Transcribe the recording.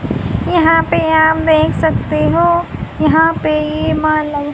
यहां पे आप देख सकते हो यहां पे ये